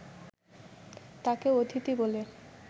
তাঁকে অতিথি বলে